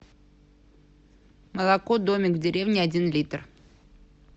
молоко домик в деревне один литр